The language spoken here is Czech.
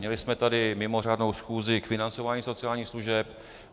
Měli jsme tady mimořádnou schůzi k financování sociálních služeb.